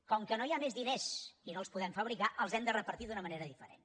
com que no hi ha més diners i no els podem fabricar els hem de repartir d’una manera diferent